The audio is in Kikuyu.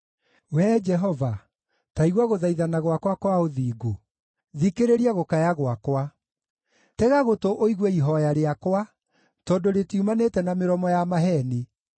Wee Jehova, ta igua gũthaithana gwakwa kwa ũthingu; thikĩrĩria gũkaya gwakwa. Tega gũtũ ũigue ihooya rĩakwa, tondũ rĩtiumanĩte na mĩromo ya maheeni.